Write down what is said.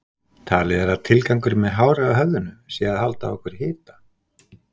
Talið er að tilgangurinn með hári á höfðinu sé að halda á okkur hita.